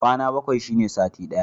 Kwana bakwai shine sati ɗaya.